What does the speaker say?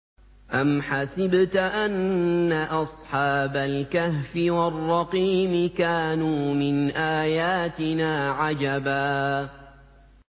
أَمْ حَسِبْتَ أَنَّ أَصْحَابَ الْكَهْفِ وَالرَّقِيمِ كَانُوا مِنْ آيَاتِنَا عَجَبًا